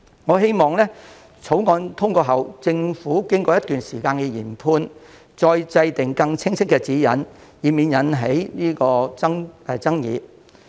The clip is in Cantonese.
我希望在《條例草案》通過後，政府經過一段時間的研判，再制訂更加清晰的指引，以免引起爭議。